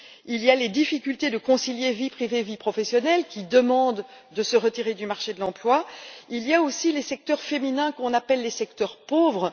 Il y a les difficultés à concilier vie privée et vie professionnelle, qui demandent de se retirer du marché de l'emploi. Il y a aussi les secteurs féminins qu'on appelle les secteurs pauvres.